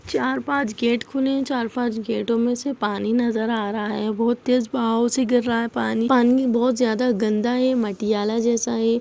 चार पांच गेट खुले है और चार पांच गेटो में से पानी नजर आ रहा है बहुत तेज बहाव से गिर रहा है पानी पानी बहोत ज्यादा गन्दा है मटियाला जैसा है।